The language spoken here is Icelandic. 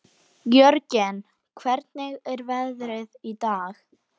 Jörgen, hvernig er veðrið í dag?